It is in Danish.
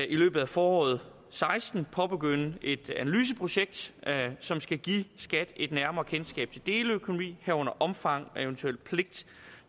i løbet af foråret seksten påbegynde et analyseprojekt som skal give skat et nærmere kendskab til deleøkonomi herunder omfang af og eventuel pligt